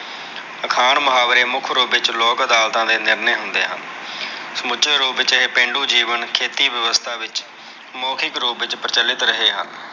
ਅਖਾਣ ਮੁਹਾਵਰੇ ਮੁੱਖ ਰੂਪ ਵਿੱਚ ਲੋਕ ਅਦਾਲਤਾ ਦੇ ਨਿਰਣੇ ਹੁੰਦੇ ਹਨ। ਸਮੁੱਚੇ ਰੂਪ ਵਿੱਚ ਇਹ ਪੇਂਡੂ ਜੀਵਨ ਖੇਤੀ ਵਿਵਸਥਾ ਵਿੱਚ ਸਮੋਹਿਕ ਰੂਪ ਵਿੱਚ ਪ੍ਰਚਲਿਤ ਰਹੇ ਹਨ।